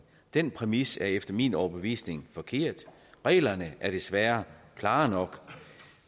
den præmis er efter min overbevisning forkert reglerne er desværre klare nok